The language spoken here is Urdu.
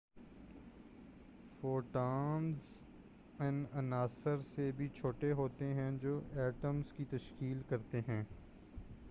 فوٹونز ان عناصر سے بھی چھوٹے ہوتے ہیں جو ایٹمز کی تشکیل کرتے ہیں